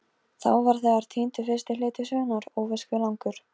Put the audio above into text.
Þá var þegar týndur fyrsti hluti sögunnar, óvíst hve langur.